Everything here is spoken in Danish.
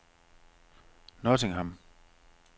Nottingham